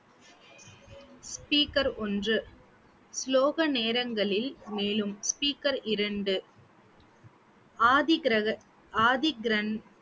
speaker ஒன்று ஸ்லோக நேரங்களில் மேலும் speaker இரண்டு ஆதி கிரக~ ஆதி கிரந்~